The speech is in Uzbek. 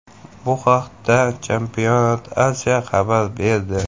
Bu haqda Championat Asia xabar berdi .